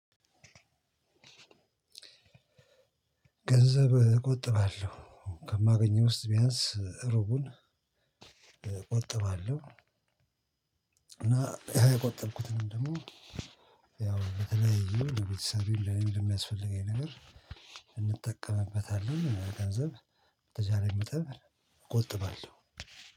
ገንዘብ እቆጥባለሁ። ከማገኘው ውስጥ ቢያንስ ዕሩቡን እቆጥባለሁ። እና ያቆጠርኩትን ደግሞ ያው በተለይ የቤተሰብ ለሚል የሚያስፈልገኝ ነገር እጠቀምበታለሁ ገንዘብ በተቻኝ መጠን እቆጥባለሁ